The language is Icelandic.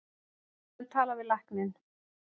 Við skulum tala við lækninn.